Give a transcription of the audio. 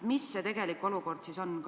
Mis see tegelik olukord siis on?